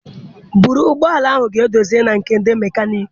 Buru ụgbọ ala a ga dozie na nke ndị mekaniki!